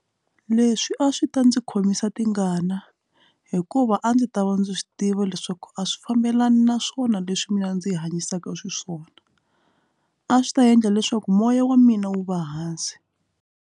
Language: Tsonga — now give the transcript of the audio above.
Leswi a swi ta ndzi khomisa tingana hikuva a ndzi ta va ndzi swi tiva leswaku a swi fambelani naswona leswi mina ndzi hi hanyisaka xiswona a swi ta endla leswaku moya wa mina wu va hansi.